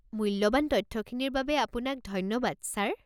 মূল্যৱান তথ্যখিনিৰ বাবে আপোনাক ধন্যবাদ, ছাৰ।